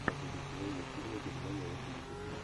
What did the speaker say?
последний сезон мультфильма германия восемьдесят три